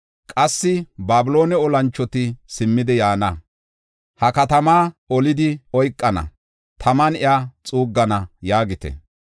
Qassi Babiloone olanchoti simmidi yaana; ha katamaa olidi oykana; taman iya xuuggana’ yaagite.